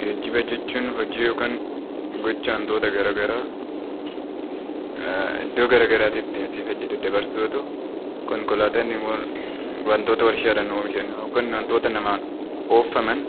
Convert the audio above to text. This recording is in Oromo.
Geejiba jechuun hojii yookaan gocha waantota garaagaraa, iddoo garaagaraatti asii fi achi daddabarsuu yoo ta'u, konkolaatonni immoo waantota warshaadhaan oomishan waantota namaan oofaman